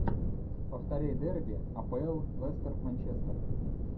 повтори дерби апл лестер манчестер